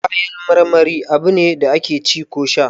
Kayan marmari abune da ake ci ko sha